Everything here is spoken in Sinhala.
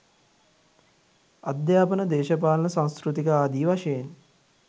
අධ්‍යාපන දේශපාලන සංස්කෘතික ආදි වශයෙන්